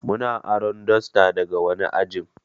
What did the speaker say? Muna aro dasta daga wani ajin